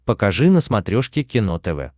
покажи на смотрешке кино тв